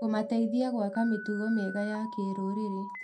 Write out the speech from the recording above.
Kũmateithagia gwaka mĩtugo mĩega ya kĩrũrĩrĩ.